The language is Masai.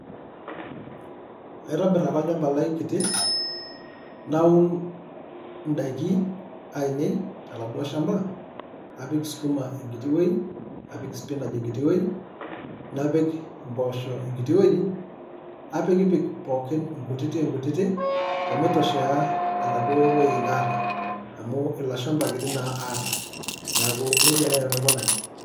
Aitobirr ake olchamba lai kiti naaun indaikin aainei toladuo shamba napik sukuma enkiti wuei, napik spiinach enkiti wuei, napik imboosho enkiti wuei napikikipik pooki inkutitik-inkutitik omitoshea enaduo wueji naata, amu ilo shamba kiti naa aata, neeku nijia naai nanu aikunaki.